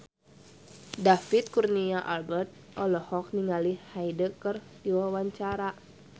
David Kurnia Albert olohok ningali Hyde keur diwawancara